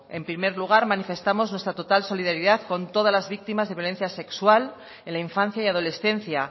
en primer lugar manifestamos nuestra total solidaridad con todas las víctimas de violencia sexual en la infancia y adolescencia